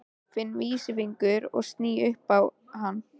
Finn vísifingur og sný upp á hann.